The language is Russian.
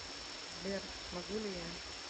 сбер могу ли я